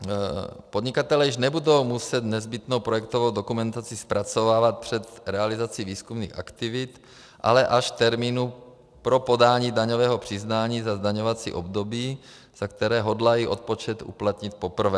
Podnikatelé již nebudou muset nezbytnou projektovou dokumentaci zpracovávat před realizací výzkumných aktivit, ale až v termínu pro podání daňového přiznání za zdaňovací období, za které hodlají odpočet uplatnit poprvé.